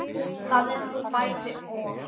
Það er nú bæði og.